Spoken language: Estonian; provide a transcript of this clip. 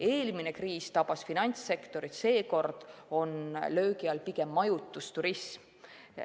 Eelmine kriis tabas finantssektorit, seekord on löögi all pigem majutus, turism.